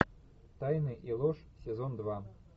тайны и ложь сезон два